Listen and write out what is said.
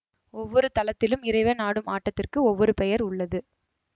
ஒவ்வொரு தலத்திலும் இறைவன் ஆடும் ஆட்டத்திற்கு ஒவ்வொரு பெயர் உள்ளது